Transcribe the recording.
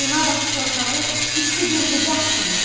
Bağrına bas torpağı isti bir qucaq kimi.